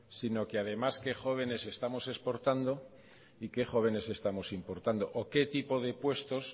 sino que además qué jóvenes que estamos exportando y qué jóvenes estamos importando o qué tipo de puestos